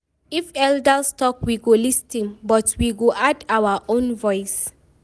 If elders talk, we go lis ten, but we go add our own voice.